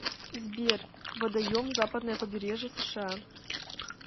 сбер водоем западное побережье сша